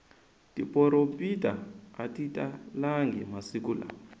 tiporopita atitalangi masiku lawa